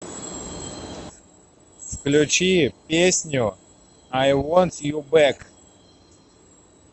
включи песню ай вонт ю бэк